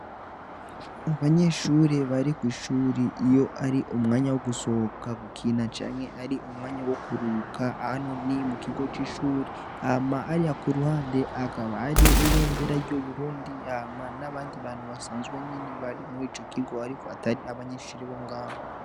Abanyeshure bari kw'ishure iyo ari umwanya wo gusohoka gukina canke ari umwanya wo kuruhuka hano ni mu kigo c'ishure hama hariya ku ruhande hakaba hariho ibendera ry'Uburundi hama n'abandi bantu basanzwe nyene bari murico kigo ariko atari abanyeshure bo ngaho.